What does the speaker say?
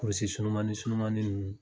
Polisi sunumani sunumani ninnu